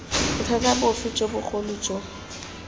bothata bofe jo bogolo jo